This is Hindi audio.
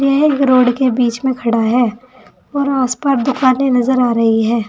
यह एक रोड के बीच में खड़ा है और उस पर दुकाने नजर आ रही है।